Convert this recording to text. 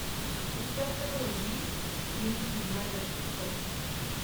у тебя в каталоге есть великий из бродячих псов